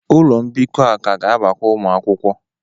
Ụlọ mbikọ a ka ga-abakwu ụmụ akwụkwọ.